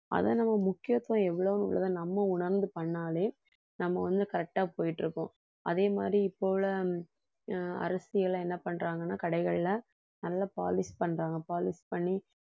அதை நம்ம முக்கியத்துவம் எவ்வளவுங்கிறதை நம்ம உணர்ந்து பண்ணாலே நம்ம வந்து correct ஆ போயிட்டு இருக்கோம். அதே மாதிரி இப்போ உள்ள அஹ் அரசியல்ல என்ன பண்றாங்கன்னா கடைகள்ல நல்ல polish பண்றாங்க polish பண்ணி